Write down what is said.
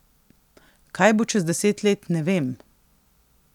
Kaj bo čez deset let, ne vem.